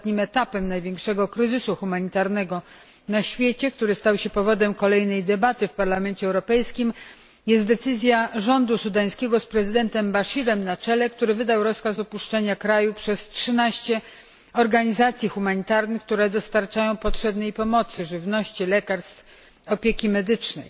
Ostatnim etapem największego kryzysu humanitarnego na świecie, który stał się powodem kolejnej debaty w Parlamencie Europejskim, jest decyzja sudańskiego rządu z prezydentem Al Baszirem na czele, który wydał rozkaz opuszczenia kraju przez 13 organizacji humanitarnych, które dostarczają potrzebnej pomocy żywności, lekarstw i opieki medycznej.